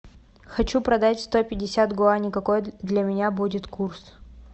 хочу продать сто пятьдесят гуани какой для меня будет курс